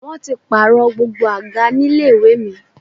Wọ́n ti pààrọ̀ gbogbo àga ní ilé ìwé mi